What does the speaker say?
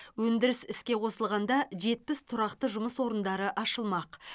өндіріс іске қосылғанда жетпіс тұрақты жұмыс орындары ашылмақ